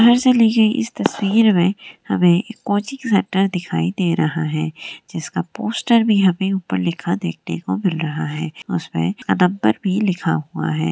इस तस्वीर मे हमे कोचिंग सेंटर दिखाई दे रहा है। जिसका पोस्टर भी हमे ऊपर लिखा देखने को मिल रहा है उसमे नंबर भी लिखा हुआ है।